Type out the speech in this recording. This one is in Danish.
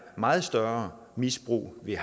meget større misbrug ville